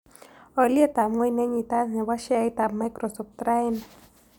Alyetap ng'weny nenyitat ne po sheaitap microsoft raini